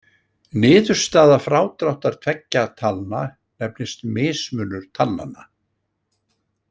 Niðurstaða frádráttar tveggja talna nefnist mismunur talnanna.